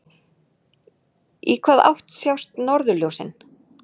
Í hvaða átt sjást norðurljósin?